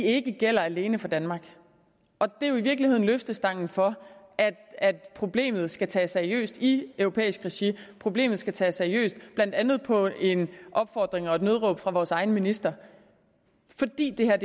ikke gælder alene for danmark det er jo i virkeligheden løftestangen for at problemet skal tages seriøst i europæisk regi problemet skal tages seriøst blandt andet på opfordring og et nødråb fra vores egen minister fordi det her